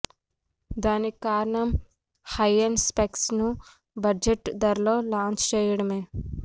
దానికి కారణం high end specs ను బడ్జెట్ ధరలో లాంచ్ చేయటమే